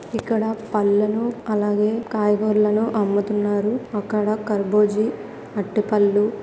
ఇక్కడ పండ్లను అలాగే కాయగూరలను అమ్ముతున్నారు అక్కడ కర్బుజి అరిటిపండ్ల--.